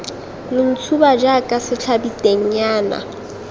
lo ntshuba jaaka setlhabi tennyana